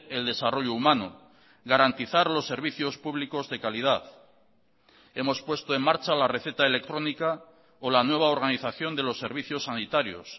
el desarrollo humano garantizar los servicios públicos de calidad hemos puesto en marcha la receta electrónica o la nueva organización de los servicios sanitarios